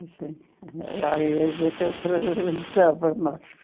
Era a igreja que eu frequentava mais.